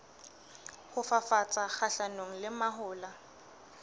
ho fafatsa kgahlanong le mahola